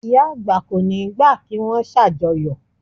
Ìyá àgbà kò ní gbà kí wón ṣàjọyọ̀